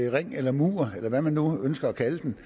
ring eller mur eller hvad man nu ønsker kalde den